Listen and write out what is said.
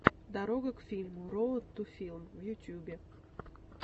дорога к фильму роад ту филм в ютюбе